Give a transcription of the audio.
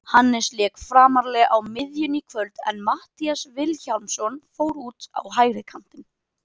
Hannes lék framarlega á miðjunni í kvöld en Matthías Vilhjálmsson fór út á hægri kantinn.